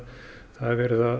er verið að